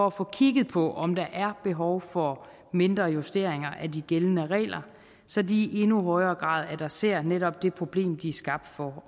at få kigget på om der er behov for mindre justeringer af de gældende regler så de i endnu højere grad adresserer netop det problem de er skabt for